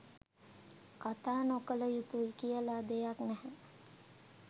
කතා නොකළ යුතුයි කියලා දෙයක් නැහැ.